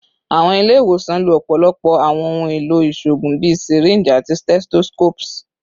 Awọn ile-iwosan lo ọpọlọpọ awọn ohun elo iṣoogun bii syringes ati stethoscopes